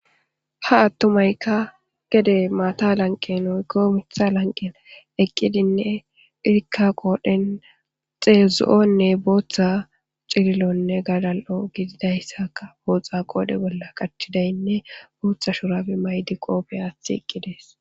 Ha attumaykka grade maata lanqqen woyko Mitha lanqen eqidine izika qodhen zo'onne bootha wcililonne walaka sharbe yegidaysinne bootha shurabe mayidi qoope aathi eqidaysi